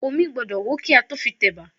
Omí gbọ́dọ̀ hó kí a tó fi tẹ̀bà